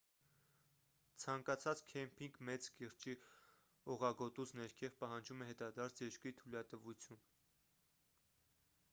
ցանկացած քեմփինգ մեծ կիրճի օղագոտուց ներքև պահանջում է հետադարձ երկրի թույլատվություն